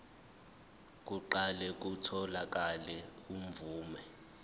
kuqale kutholakale imvume